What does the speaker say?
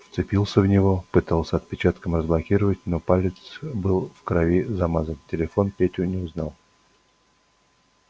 вцепился в него пытался отпечатком разблокировать но палец был в крови замазан телефон петю не узнавал